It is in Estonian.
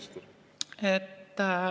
Aitäh!